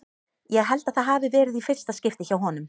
Ég held að það hafi verið í fyrsta skipti hjá honum.